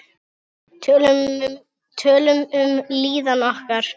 Tölum um líðan okkar.